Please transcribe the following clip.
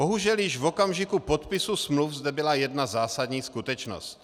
Bohužel již v okamžiku podpisu smluv zde byla jedna zásadní skutečnost.